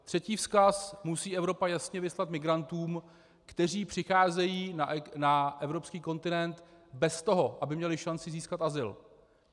Třetí vzkaz musí Evropa jasně vyslat migrantům, kteří přicházejí na evropský kontinent bez toho, aby měli šanci získat azyl.